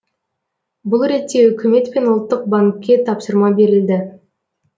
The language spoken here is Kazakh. бұл ретте үкімет пен ұлттық банкке тапсырма берілді